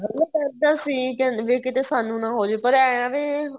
ਡਰਦਾ ਸੀ ਵੀ ਕੀਤੇ ਸਾਨੂੰ ਨਾ ਹੋਜ਼ੇ ਪਰ ਏ ਵੀ